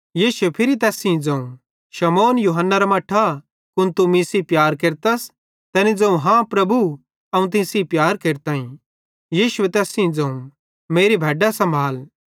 यीशुए फिरी तैन सेइं ज़ोवं शमौन यूहन्नेरे मट्ठा कुन तू मीं सेइं प्यार केरतस तैनी ज़ोवं हाँ प्रभु अवं तीं सेइं प्यार केरताईं यीशुए तैस सेइं ज़ोवं मेरी भैड्डां सम्भाल